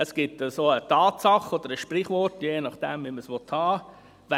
Es gibt eine Tatsache oder ein Sprichwort – je nachdem, wie man es haben will: